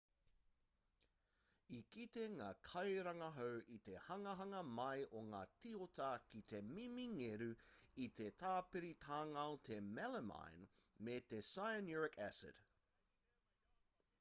i kite ngā kairangahau i te hanganga mai o ngā tioata ki te mimi ngeru i te tāpiritangao te melamine me te cyanuric acid